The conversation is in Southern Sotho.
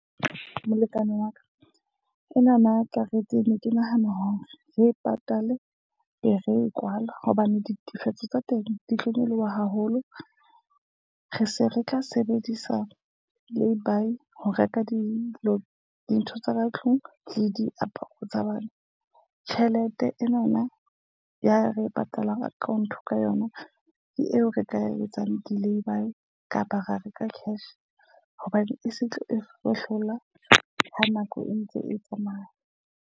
Molekane wa ka, enana karete ne ke nahana hore re patale be re e kwala hobane ditefetso tsa teng di tlo nyoloha haholo. Re se re tla sebedisa lay-bye ho reka dilo, dintho tsa ka tlung le diaparo tsa bana. Tjhelete enana ya re e patalang account ka yona ke eo re ka etsang di lay-bye kapa ra reka cash hobane e se tlo e fuwe hlola ha nako e ntse e tsamaya.